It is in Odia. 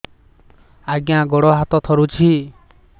ଆଜ୍ଞା ଗୋଡ଼ ହାତ ଥରୁଛି